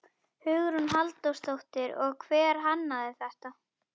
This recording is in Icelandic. Hugrún Halldórsdóttir: Og hver hannaði þetta?